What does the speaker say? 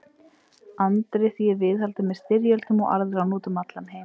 Andri, því er viðhaldið með styrjöldum og arðráni út um allan heim.